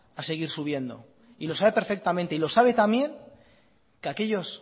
a seguir subiendo y lo sabe perfectamente y lo sabe tan bien que aquellos